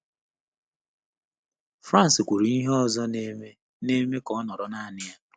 Frances kwuru ihe ọzọ na-eme na-eme ka ọ nọrọ naanị ya.